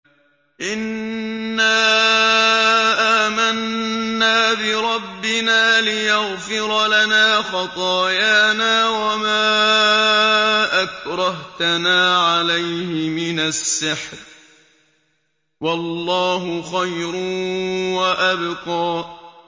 إِنَّا آمَنَّا بِرَبِّنَا لِيَغْفِرَ لَنَا خَطَايَانَا وَمَا أَكْرَهْتَنَا عَلَيْهِ مِنَ السِّحْرِ ۗ وَاللَّهُ خَيْرٌ وَأَبْقَىٰ